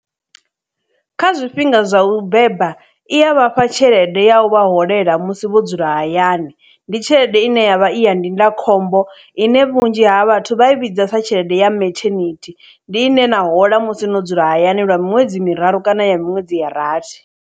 Kha zwifhinga zwa u beba i ya vhafha tshelede ya u vha holela musi vho dzula hayani ndi tshelede ine yavha iya ndindakhombo ine vhunzhi ha vhathu vha i vhidza sa tshelede ya methenithi ndi ine na hola musi no dzula hayani lwa miṅwedzi miraru kana ya miṅwedzi ya rathi.